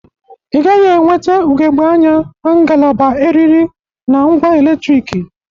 Ị gaghị enwete ugebge anya na ngalaba eriri na ngwa eletriki